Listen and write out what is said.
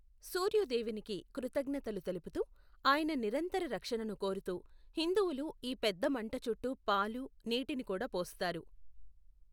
సూర్యు దేవునికి కృతజ్ఞతలు తెలుపుతూ, ఆయన నిరంతర రక్షణను కోరుతూ హిందువులు ఈ పెద్దమంట చుట్టూ పాలు, నీటిని కూడా పోస్తారు.